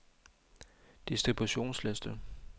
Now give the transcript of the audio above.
distributionsliste